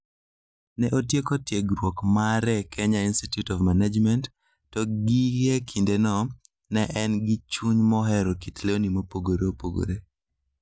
Ne otieko tiegruok mare e Kenya Institute of Management, to gie kindeno, ne en gi chuny mohero kit lewni mopogore opogore.